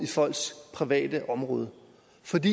i det ude